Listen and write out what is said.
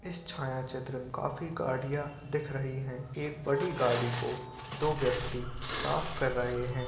इस छायाचित्र में काफी गाड़ियां दिख रही है। एक बड़ी गाड़ी को दो व्यक्ति साफ कर रहे हैं।